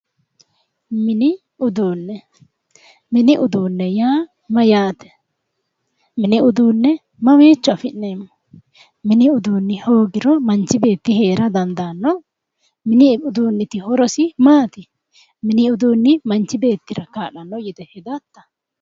Mini uduunne mini uduunne yaa mayyaate mini uduunne mamiicho afi'neemmo mini uduunni hoogiro manchi beetti heera dandaanno mini uduunniti horosi maati mini uduunni manchi beettira kaa'lanno yite hedatta